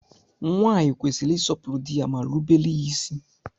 Nwaanyị kwesịrị ịsọpụrụ dị ya ma rubere ya isi